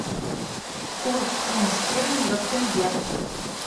курс фунт стерлингов тенге